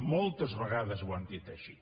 moltes vegades ho han dit així